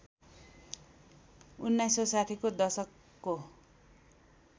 १९६० को दशकको